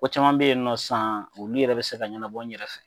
Ko caman bɛ yen nɔ sisan olu yɛrɛ bɛ se ka ɲɛnabɔ n yɛrɛ fɛ yen